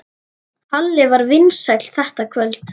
Halli var vinsæll þetta kvöld.